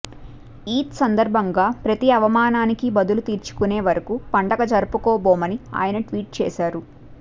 ఈద్ సందర్భంగా ప్రతీ అవమానానికి బదులు తీర్చుకునే వరకు పండుగ జరపుకోబోనని ఆయన ట్వీట్ చేశారు